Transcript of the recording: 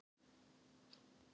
Erfiði fólksins sem hjálpaði mér.